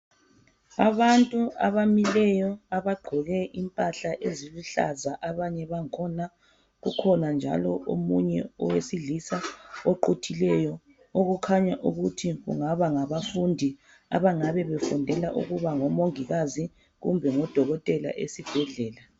Abantu abamileyo abagqoke impahla eziluhlaza abanye bakhona kukhona njalo omunye owesilisa oquthileyo okukhanya ukuthi kungaba ngabafundi abangabe befundela ukuba ngomongikazi kumbe ngodokotela esibhedlela.